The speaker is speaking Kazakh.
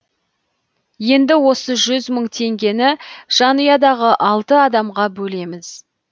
енді осы жүз мың теңгені жанұядағы алты адамға бөлеміз